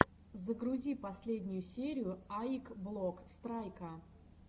загрузи последнюю серию аик блок страйка